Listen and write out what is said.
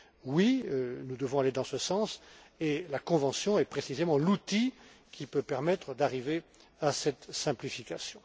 Oui, nous devons aller dans ce sens, et la convention est précisément l'outil qui peut permettre d'arriver à cette simplification.